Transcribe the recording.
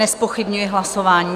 Nezpochybňuji hlasování.